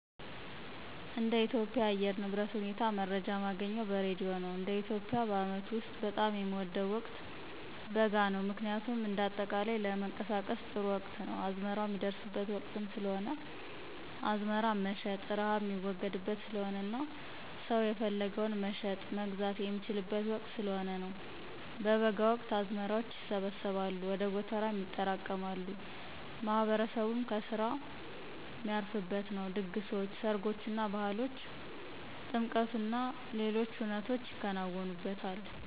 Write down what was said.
እንደ ኢትዮጵያ የአየር ንብረት ሁኔታ መረጃ ማገኘው በሬድዮ ነው፣ እንደ ኢትዮጵያ የአመቱ ውስጥ በጣም የምወደው ወቅት በጋ ነው ምክንያቱም እንደ አጠቃላይ ለንቀሳቀስም ጥሩ ወቅት ነው፣ አዝመራው ሚደርስበት ወቅትም ስለሆነ አዝመራም መሸጥ፣ ርሃብ ሚወገድበት ስለሆነና ሰው የፈለገውን መሸጥ፣ መግዛት የሚችልበት ወቅት ስለሆነ ነው። በበጋ ወቅት አዝመራዎች ይሰበሰባሉ ወደ ጎተራም ይጠራቀማሉ፣ ማህበረሰቡም ከስራ ሚያርፍበት ነው፣ ድግሶች፣ ሰርጎችና፣ ባህሎች፣ ጥምቀቶችና ሌሎች ሁነቶች ይከናወኑበታል።